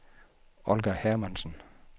Olga Hermansen